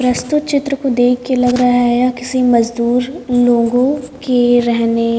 प्रस्तुत चित्र को देख के लग रहा है यह किसी मजदूर लोगों के रहने --